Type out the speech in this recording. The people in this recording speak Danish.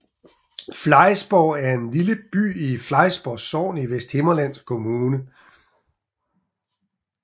Flejsborg er en lille by i Flejsborg Sogn i Vesthimmerlands Kommune